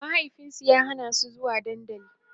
mahaifinsu ya Hana su zuwa dandali